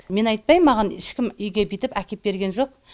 мен айтпаймын маған ешкім үйге бүйтіп әкеп берген жоқ